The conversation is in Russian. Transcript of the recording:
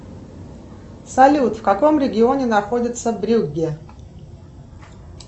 салют в каком регионе находится брюгге